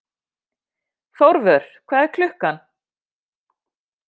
Þórvör, hvað er klukkan?